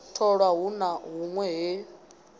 tholwa hu na hunwe he